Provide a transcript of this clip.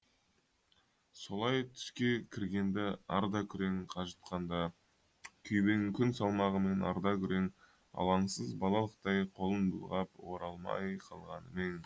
солай түске кірген ді ардакүрең қажытқанда күйбең күн салмағымен ардакүрең алаңсыз балалықтай қолын бұлғап оралмай қалғаным ең